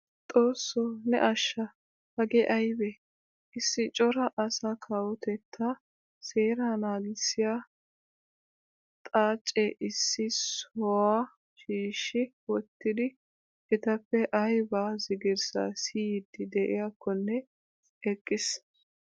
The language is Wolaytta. Xoossoo ne asha hagee aybee! issi cora asaa kawotettaa seeraa nagissiyaa xaacee issi sohuwaa shiishi wottidi etappe ayba zigirssa siyiidi de'iyaakone eqqiis.